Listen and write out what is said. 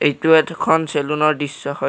এইটো এটাখন চেলুনৰ দৃশ্য হয়।